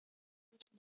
Drífa Snædal.